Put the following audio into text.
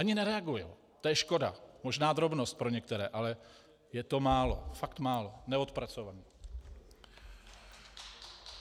Ani nereagují, to je škoda, možná drobnost pro některé, ale je to málo, fakt málo, neodpracované.